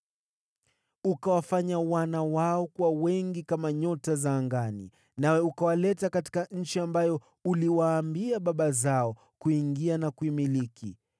Uliwafanya wana wao kuwa wengi kama nyota za angani, nawe ukawaleta katika nchi ambayo uliwaambia baba zao kuingia na kuimiliki.